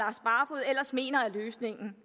ellers mener er løsningen